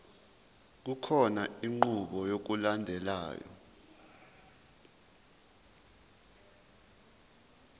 kukhona inqubo yokulandelayo